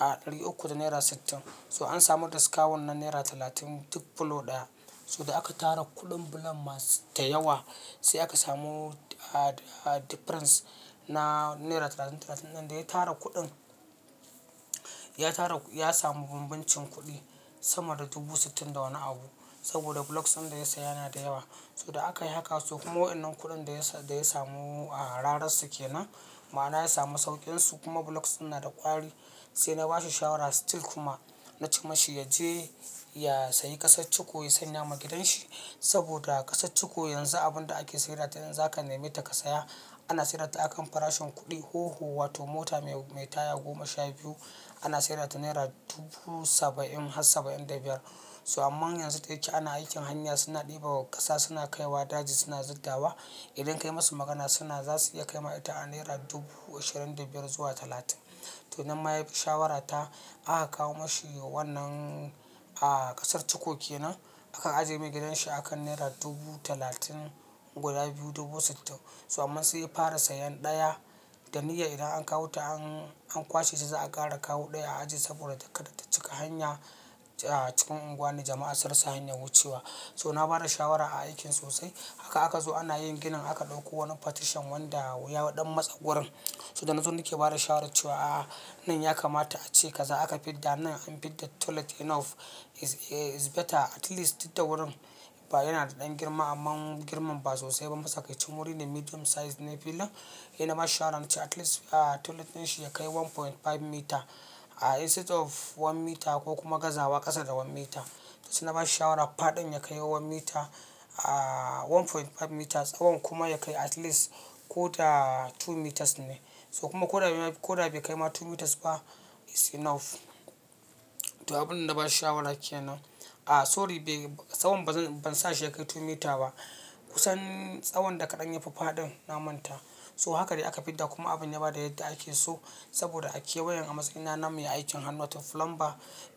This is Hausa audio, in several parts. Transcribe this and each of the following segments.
a ɗari uku da naira sittin. So an samu discount na naira talatin duk block ɗaya. So da aka tara kuɗin block masu da yawa sai aka samu difference na naira talatin, talatin nan da ya tara kuɗin. Ya tara, ya samu bumbuncin kuɗi sama da dubu sittin da wani abu saboda blocks ɗin da ya sayi yana da yawa. So da aka yi haka su kuma wannan kuɗin da ya samu a rararsu kenan. Ma'ana ya samu sauƙin su kuma blocks ɗin na da ƙwari. Sai na ba shi shawara still kuma na ce mashi ya je ya sayi ƙasar chiko ya sanya ma gidanshi saboda ƙasar chiko yanzu abin da ake sayar da idan zaka nema ta ka saya ana sayar da ta a kan farashin kuɗi hoho wato mota mai taya goma sha biyu ana sayar da naira dubu saba'in har saba'in da biyar. So amma yanzu da yake ana aikin hanya suna ɗebo wa ƙasa, suna kaiwa daji, suna zuddawa. Idan ka yi musu magana suna za su iya kai ma ita a naira dubu ashirin da biyar zuwa talatin. To nan ma ya bi shawarata aka kawo mashi wannan ƙasar ciko kenan aka ajiye ma gidanshi a kan naira dubu talatin guda biyu dubu sittin. So amma sai ya fara sayen ɗaya da niyyar idan an kawo ta an kwashe ta za a ƙara kawo ɗaya a ajiye saboda ta kada ta cika hanya a cikin unguwanni jama'a suna rasa hanyar wucewa. So na bada shawara a aikin sosai haka aka zo ana yin ginin aka ɗauko wani partition wanda ya ɗan matse wurin. So da nan suna ke bada shawara cewa a nan ya kamata a ce kaza aka fidda nan an fidda toilet enough is better at least duk da wurin. Ba yana da ɗan girma amma girman ba sosai ba. Matsakaicin wuri ne medium size ne filin. Saina bashi shawara na ce at least toilet ɗin shi ya kai one point five meter instead of one meter ko kuma gaza ba ƙasa da one meter. Sai na bashi shawara faɗin ya kai one meter, a one point five meter. Tsawon kuma ya kai at least ko ta two meters ne. So kuma ko da bai kai ma two meters ba is enough. To abin da na ba shi shawara kenan a sorry tsawon ban sa shi ya kai two meter ba kusan tsawon da kaɗan ya fi faɗin na manta. So haka dai aka fidda kuma abin ya bada yadda ake so saboda a kewayen a matsayina na mai aikin hannu wato plumber.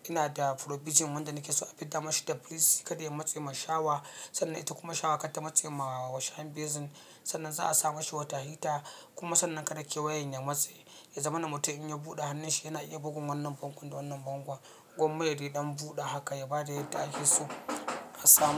Ina da provision wanda nake so a fidda mashi da police ya ƙada ya matse min shawa. Sannan ita kuma shawa kar ta matse ma shayin basin sannan za a sa mashi wata heater kuma sannan kada ake wayan ya matse ya zama na mutum in ya buɗe hannun shi yana iya bugun wannan bango da wannan bangon. Gwamma da dai ɗan buɗe haka ya bada yadda ake so a samu.